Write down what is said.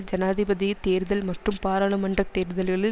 ஜனாதிபதி தேர்தல் மற்றும் பாராளுமன்ற தேர்தல்களில்